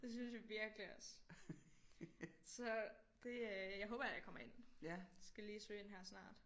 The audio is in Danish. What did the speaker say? Det synes jeg virkelig også så det øh jeg håber jeg kommer ind skal lige søge ind her snart